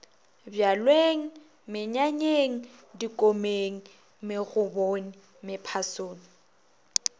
bjalweng menyanyeng dikomeng megobong mephasong